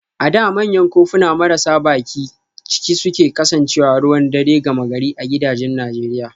A da manyan kofuna marasa bakin ciki sun kasance ruwan dare gama gari a gidajen Najeriya